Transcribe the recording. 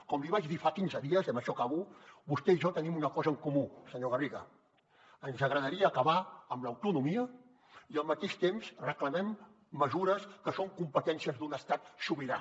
com li vaig dir fa quinze dies i amb això acabo vostè i jo tenim una cosa en comú senyor garriga ens agradaria acabar amb l’autonomia i al mateix temps reclamem mesures que són competències d’un estat sobirà